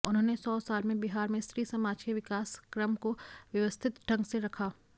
उन्होंने सौ साल में बिहार में स्त्राी समाज के विकासक्रम को व्यवििस्थत ढंग से रखा